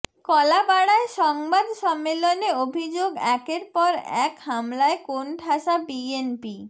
কলাপাড়ায় সংবাদ সম্মেলনে অভিযোগ একের পর এক হামলায় কোণঠাসা বিএনপি